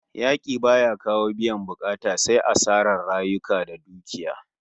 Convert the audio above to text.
Yaki baya kawo biyan bukata sai asarar rayuka da dukiya